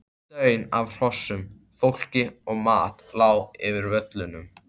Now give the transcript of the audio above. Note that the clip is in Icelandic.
Daunn af hrossum, fólki og mat lá yfir völlunum.